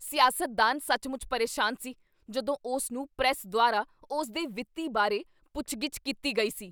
ਸਿਆਸਤਦਾਨ ਸੱਚਮੁੱਚ ਪਰੇਸ਼ਾਨ ਸੀ ਜਦੋਂ ਉਸ ਨੂੰ ਪ੍ਰੈਸ ਦੁਆਰਾ ਉਸ ਦੇ ਵਿੱਤੀ ਬਾਰੇ ਪੁੱਛਗਿੱਛ ਕੀਤੀ ਗਈ ਸੀ।